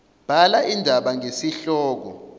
bhala indaba ngesihloko